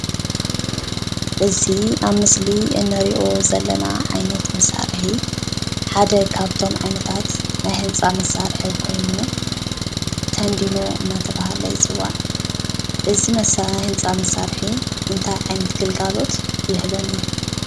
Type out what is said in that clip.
እዚ ኣብ ምስሊ እንርእዮ ዘለና ዓይነት መሳርሒ ሓደ ካብቶም ዓይነታት ናይ ህንፃ መሳርሒ ኮይኑ ቴንዲኖ እንዳተባሃለ ይፅዋዕ። እዚ ህንፃ መሳርሒ እንታይ ዓይነት ግልጋሎት ይህበና?